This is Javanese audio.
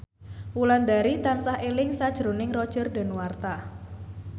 Wulandari tansah eling sakjroning Roger Danuarta